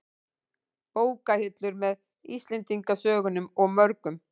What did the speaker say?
Bókahillur, með Íslendingasögunum og mörgum